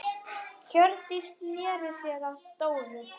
Hjördís sneri sér að Dóru.